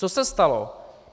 Co se stalo?